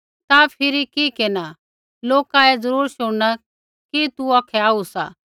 ता फिरी कि केरना लोका ऐ ज़रूर शुणना कि तू औखै आऊ सा